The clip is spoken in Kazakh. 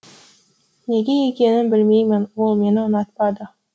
неге екенін білмеймін ол мені ұнатпады